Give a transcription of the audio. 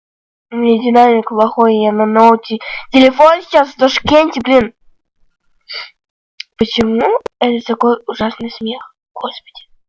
у меня динамик плохой я на ноуте телефон сейчас в ташкенте блин почему это такой ужасный смех господи